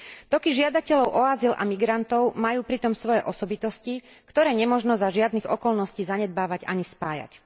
Toky žiadateľov o azyl a migrantov majú pritom svoje osobitosti, ktoré nemožno za žiadnych okolností zanedbávať ani spájať.